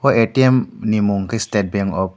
atm ni mwng khe state bank of.